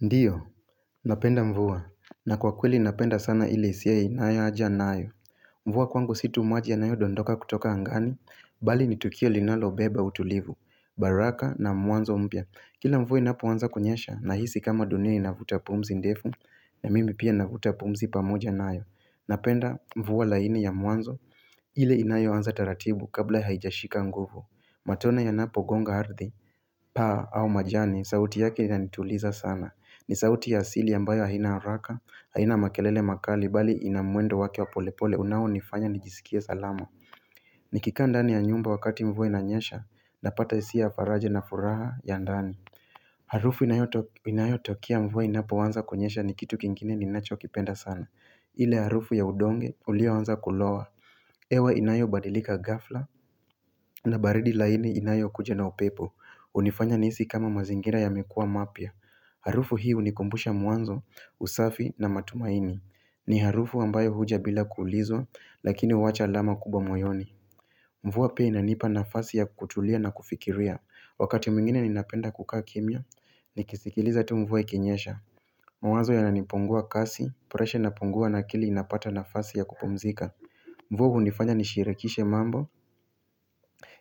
Ndio, napenda mvua, na kwa kweli napenda sana ile hisiya inayo aja nayo. Mvua kwangu si tu maji yanayo dondoka kutoka angani, bali ni tukio linalo beba utulivu, baraka na mwanzo mpya. Kila mvua inapoanza kunyesha, nahisi kama dunia inavuta pumzi ndefu, na mimi pia navuta pumzi pamoja nayo. Napenda mvua laini ya mwanzo, ile inayo anza taratibu kabla haijashika nguvu. Matone ya napo gonga ardhi, paa au majani, sauti yake inanituliza sana. Ni sauti ya asili ambayo haina haraka, haina makelele makali bali ina mwendo wake wa polepole unaonifanya nijiskie salama Nikikaa ndani ya nyumba wakati mvua inanyesha, napata hisia ya faraja na furaha ya ndani Harufu inayo tokea mvua inapoanza kunyesha ni kitu kingine ninacho kipenda sana ile harufu ya udonge ulioanza kulowa hewa inayo badilika ghafla na baridi laini inayo kuja na upepo hunifanya nihisi kama mazingira yame kuwa mapya Harufu hii unikumbusha mwanzo, usafi na matumaini ni harufu ambayo huja bila kuulizwa lakini huwacha alama kubwa moyoni Mvua pia inanipa nafasi ya kutulia na kufikiria Wakati mwingine ninapenda kukaa kimya, nikisikiliza tu mvua ikinyesha Mwanzo yananipungua kasi, preshe inapungua na akili inapata nafasi ya kupumzika Mvua hunifanya nisiharakishe mambo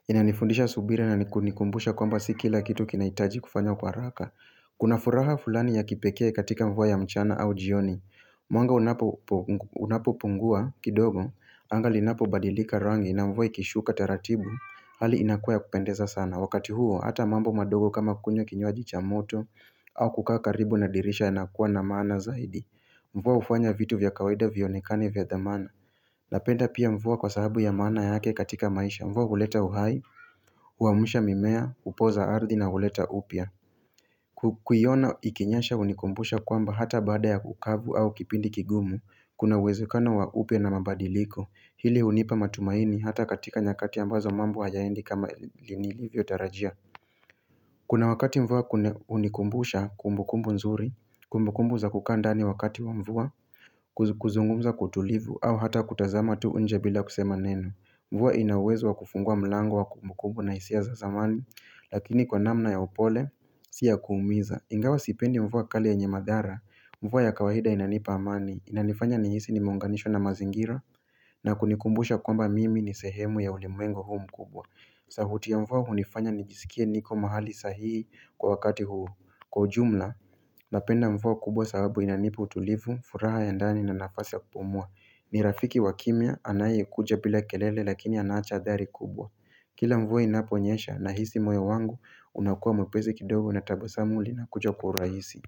Inanifundisha subira na nikunikumbusha kwamba sikila kitu kinahitaji kufanya kwa haraka Kuna furaha fulani ya kipekee katika mvua ya mchana au jioni Mwanga unapo pungua kidogo Anga linapo badilika rangi na mvua ikishuka taratibu Hali inakuwa ya kupendeza sana Wakati huo ata mambo madogo kama kunywa kinywaji cha moto au kukaa karibu nadirisha yanakuwa na maana zaidi Mvua hufanya vitu vya kawaida vionekane vya dhamana Napenda pia mvua kwa sababu ya maana yake katika maisha Mvua huleta uhai, huamsha mimea, hupoza ardhi na huleta upya Kukuiona ikinyasha hunikumbusha kwamba hata baada ya kukavu au kipindi kigumu Kuna uwezekano wa upya na mabadiliko Hili unipa matumaini hata katika nyakati ambazo mambo hayaendi kama linilivyo tarajia Kuna wakati mvua kune hunikumbusha kumbukumbu nzuri Kumbukumbu za kukaa ndani wakati wa mvua kuzungumza kwa utulivu au hata kutazama tu nje bila kusema neno Mvua ina uwezo wa kufungua mlango wa kumbukumbu na hisia za zamani Lakini kwa namna ya upole Si ya kuumiza, ingawa sipendi mvua kali yenye madhara, mvua ya kawaida inanipa amani, inanifanya nihisi nimeunganishwa na mazingira na kunikumbusha kwamba mimi ni sehemu ya ulimwengu huu mkubwa sauti ya mvua hunifanya nijiskie niko mahali sahihi kwa wakati huu kwa ujumla Napenda mvua kubwa sababu inanipa utulivu, furaha ya ndani na nafasi ya kupumua ni rafiki wakimya, anaye kuja bila kelele lakini anacha adhari kubwa Kila mvua inaponyesha nahisi moyo wangu unakuwa mwepesi kidogo na tabasamu linakuja kwa urahisi.